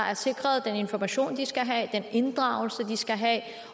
er sikret den information de skal have at inddraget